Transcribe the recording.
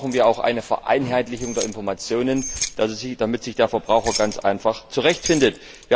Also brauchen wir auch eine Vereinheitlichung der Informationen, damit sich der Verbraucher ganz einfach zurecht findet.